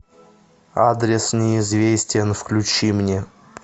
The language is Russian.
адрес неизвестен включи мне